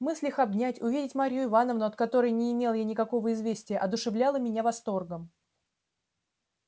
мысль их обнять увидеть марью ивановну от которой не имел я никакого известия одушевляла меня восторгом